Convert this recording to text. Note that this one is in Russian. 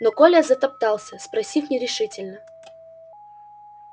но коля затоптался спросив нерешительно